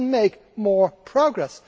We can make more progress.